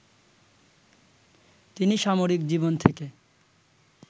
তিনি সামরিক জীবন থেকে